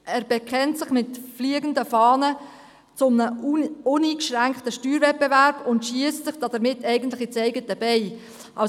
Er bekennt sich mit fliegenden Fahnen zu einem uneingeschränkten Steuerwettbewerb und schiesst sich damit ins eigene Bein.